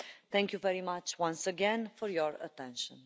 Thank you very much once again for your attention.